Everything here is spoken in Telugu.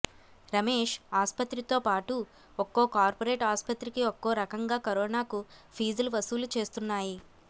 రమేశ్ ఆస్పత్రితోపాటు ఒక్కో కార్పొరేట్ ఆస్పత్రికి ఒక్కో రకంగా కరోనాకు ఫీజులు వసూళ్లు చేస్తున్నాయి